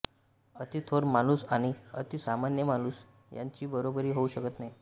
अति थोर माणूस आणि अति सामान्य माणूस यांची बरोबरी होऊ शकत नाही